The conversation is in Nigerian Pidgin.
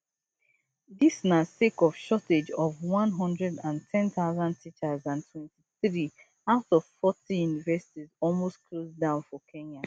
dis na sake of shortage of one hundred and ten thousand teachers and twenty-three out of forty universities almost close down for kenya